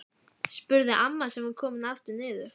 spurði amma sem var komin aftur niður.